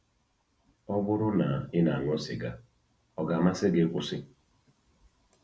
Ọbụrụ na ị na-aṅụ sịga, ọ ga-amasị gị ịkwụsị?